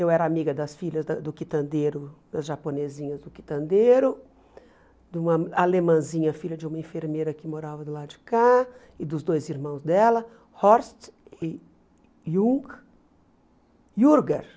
Eu era amiga das filhas da do quitandeiro, das japonesinhas do quitandeiro, de uma alemãzinha, filha de uma enfermeira que morava do lado de cá, e dos dois irmãos dela, Horst e Ju Jürger.